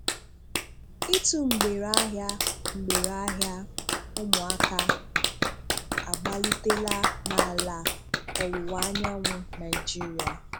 Ị́tụ̀ mgbèrè ahịa mgbèrè ahịa um ụmụ̀aka agbalítèlà n’ala ọ̀wụ̀wa Anyànwụ Naịjíríà.